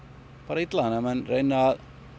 illa þannig að menn reyna